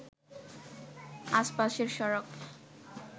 আশপাশের সড়ক